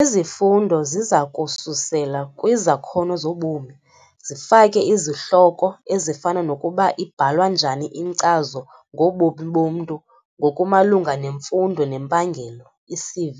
Izifundo ziza kususela kwizakhono zobomi - zifake izihloko ezifana nokuba ibhalwa njani iNkcazo ngoBomi boMntu ngokuMalunga neMfundo neMpangelo, i-CV,